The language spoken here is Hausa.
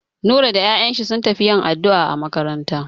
Nura da 'ya'yan shi sun tafi yin addu'a a maƙabarta.